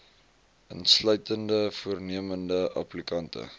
insluitende voornemende applikante